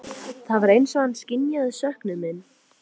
Það var eins og hann skynjaði söknuð minn.